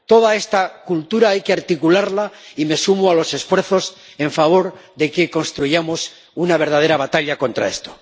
Toda esta cultura hay que articularla y me sumo a los esfuerzos en favor de que emprendamos una verdadera batalla contra esto.